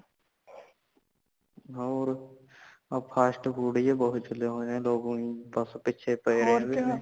ਹੋਰ ਆ fast food ਬੋਹਤ ਚਲੇ ਹੋਏ ਨੇ ਲੋਗ ਉਹੀ ਬਸ ਪੀਛੇ ਪਏ (overlap ) ਇਹਨਾਂ ਦੇ